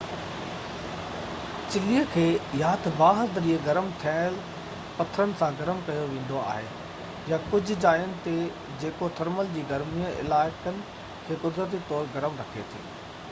چلي کي يا تہ باهہ ذريعي گرم ٿيل پٿرن سان گرم ڪيو ويندو آهي يا ڪجهہ جائين تي جيو ٿرمل جي گرمي علائقن کي قدرتي طور گرم رکي ٿي